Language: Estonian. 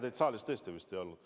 Teid saalis tõesti vist ei olnud.